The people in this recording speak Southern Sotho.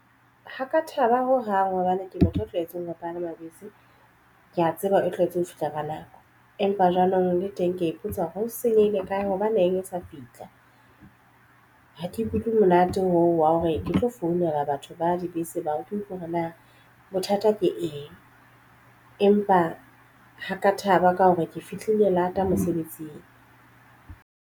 Ha ka thaba ho hang hobane ke batho ba tlwaetseng ho palama bese. Ke ya tseba e tlwaetseng ho fihla ka nako. Empa jwanong le teng ke ya ipotsa hore ho senyehile kae hobane e etsa fihla. Ha ke ikutlwe monate oo wa hore di tlo founela batho ba dibese ba check hore na bothata ke eng empa ha ka thaba ka hore ke fihlile lata mosebetsing.